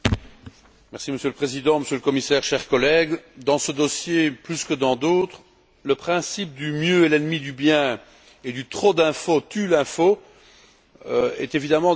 Monsieur le Président, Monsieur le Commissaire, chers collègues, dans ce dossier, plus que dans d'autres, le principe du mieux est l'ennemi du bien et du trop d'infos tuent l'info est évidemment d'actualité.